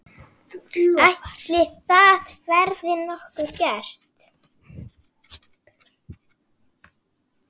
Ætli það verði nokkuð gert?